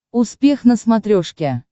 успех на смотрешке